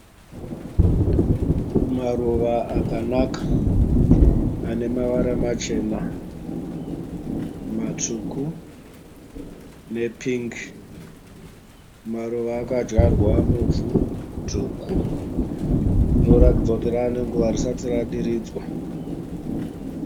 Maruva akanaka anemavara machena, matsvuku ne pingi. Maruva akadyarwa muvhu dzvuku rinoratidza kuti rave nenguva risati radiridzwa